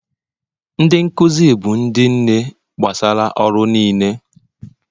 Ndị nkuzi bụ ndị nne gbasara ọrụ niile